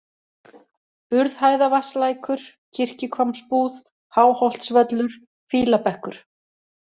Urðhæðavatnslækur, Kirkjuhvammsbúð, Háholtsvöllur, Fýlabekkur